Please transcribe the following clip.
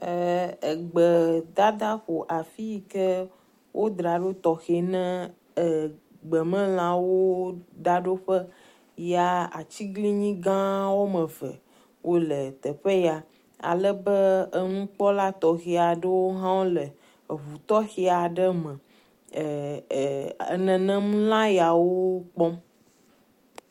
E.. egbedadaƒo afi yi ke wodra ɖo tɔxɛ ne e gbemelawo daɖoƒe ya atiglinyi gã wɔme eve wo le teƒe ya ale be enukpɔla tɔxe aɖwo hã le eŋu tɔxɛ aɖe me e e e nenem lã yawo kpɔm.